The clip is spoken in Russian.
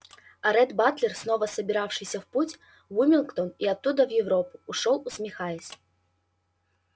а ретт батлер снова собиравшийся в путь в уилмингтон и оттуда в европу ушёл усмехаясь